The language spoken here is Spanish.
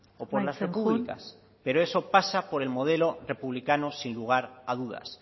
o por las repúblicas amaitzen joan pero eso pasa por el modelo republicado sin lugar a dudas